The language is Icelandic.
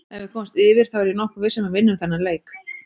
Ef við komumst yfir þá er ég nokkuð viss um að við vinnum þennan leik.